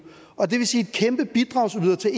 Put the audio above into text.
og det vil sige kæmpe bidragsyder til